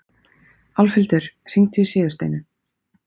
Álfhildur, hringdu í Sigursteinu.